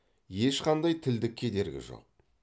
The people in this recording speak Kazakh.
ешқандай тілдік кедергі жоқ